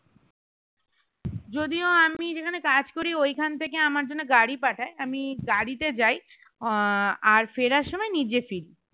যদিও আমি যেখানে কাজ করি ঐখান থেকে আমার জন্য গাড়ি পাঠায় আমি গাড়িতে যাই আহ আর ফেরার সময়ে নিজে ফিরি